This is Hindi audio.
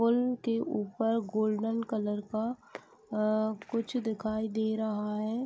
पुल के ऊपर गोल्डन कलर का अ कुछ दिखाई दे रहा है।